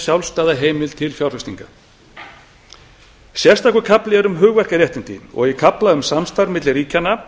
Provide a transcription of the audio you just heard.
sjálfstæða heimild til fjárfestingar sérstakur kafli er um hugverkaréttindi og í kafla um samstarf milli ríkjanna